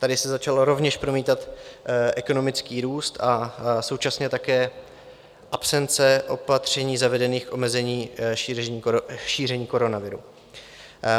Tady se začal rovněž promítat ekonomický růst a současně také absence opatření zavedených k omezení šíření koronaviru.